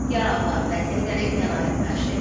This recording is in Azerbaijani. Yaralıların vəziyyətləri qənaətbəxşdir.